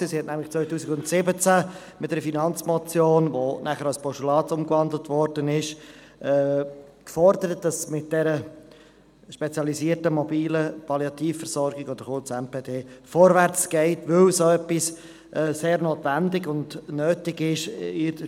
2017 forderte sie in einer Finanzmotion (), die in ein Postulat gewandelt wurde, es müsse mit diesen spezialisierten MPD vorwärtsgehen, weil sie in der Spitalversorgungsplanung sehr notwendig und nötig seien.